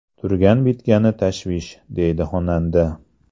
Turgan-bitgani tashvish”, deydi xonanda.